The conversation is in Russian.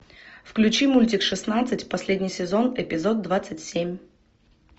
включи мультик шестнадцать последний сезон эпизод двадцать семь